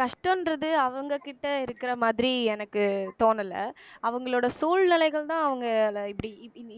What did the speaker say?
கஷ்டன்றது அவங்ககிட்ட இருக்கற மாதிரி எனக்கு தோணலை அவங்களோட சூழ்நிலைகள்தான் அவங்களால இப்படி